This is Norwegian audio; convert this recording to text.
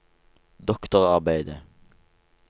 doktorarbeidet